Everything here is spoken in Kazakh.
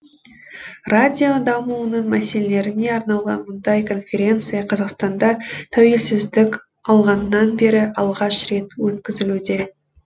радио дамуының мәселелеріне арналған мұндай конференция қазақстанда тәуелсіздік алғаннан бері алғаш рет өткізілуде